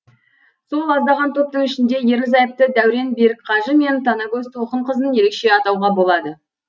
сол аздаған топтың ішінде ерлі зайыпты дәурен берікқажы мен танагөз толқынқызын ерекше атауға болады